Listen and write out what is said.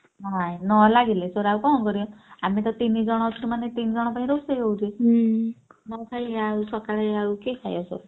ନାଇଁ ନଲାଗିଲେ ସେଗୁରା ଆଉ କଣ କରିବେ ଆମେତ ତିନିଜଣ ସେମାନେ ତିନ ଜଣ ପାଇଁ ରୋଷେଇ ହଉଛି ନଖାଇ ଆଉ ସକାଳେ ଆଉ କିଏ ଖାଇବ ସବୁ!